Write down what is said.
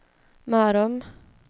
Mörrum